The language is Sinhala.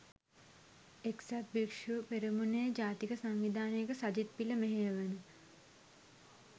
එක්සත් භික්‍ෂු පෙරමුණේ ජාතික සංවිධායක සජිත් පිල මෙහෙයවන